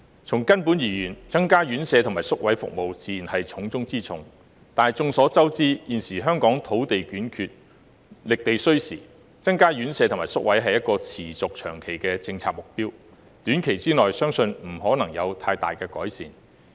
從根本而言，增加院舍和宿位服務自然是重中之重，但眾所周知，現時香港土地短缺，覓地需時，增加院舍和宿位是持續長期的政策目標，短期內相信不可能有太大改善。